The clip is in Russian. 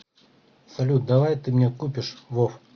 салют давай ты мне купишь вов